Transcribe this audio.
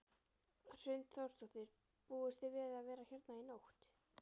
Hrund Þórsdóttir: Búist þið við að vera hérna í nótt?